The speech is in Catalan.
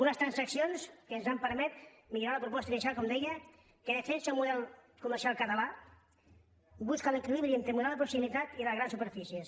unes transaccions que ens han permès millorar la proposta inicial com deia que defensa un model comercial català que busca l’equilibri entre model de proximitat i les grans superfícies